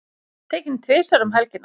Tekinn tvisvar um helgina